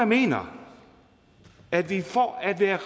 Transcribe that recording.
mener at vi for at være